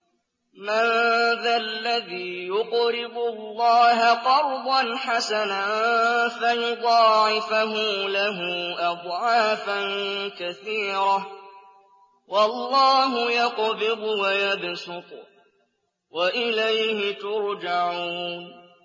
مَّن ذَا الَّذِي يُقْرِضُ اللَّهَ قَرْضًا حَسَنًا فَيُضَاعِفَهُ لَهُ أَضْعَافًا كَثِيرَةً ۚ وَاللَّهُ يَقْبِضُ وَيَبْسُطُ وَإِلَيْهِ تُرْجَعُونَ